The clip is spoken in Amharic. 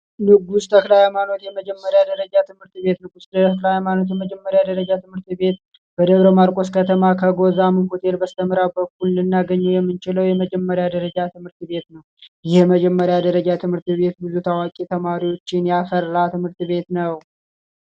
የቅድስት ተክለሃይማኖት የመጀመሪያ ደረጃ ትምህርት ቤት የቅድስት መጀመሪያ ደረጃ ትምህርት ቤት የደብረ ማርቆስ ከተማ በስተ ምዕራብ በኩል ልናገኘው የምንችለው የመጀመሪያ ደረጃ ትምህርት ቤት ነው ብዙ ታዋቂ ተማሪዎችን ያፈራ ትምህርት ቤት ነው።